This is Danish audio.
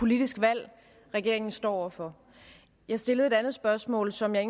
politisk valg regeringen står over for jeg stillede et andet spørgsmål som jeg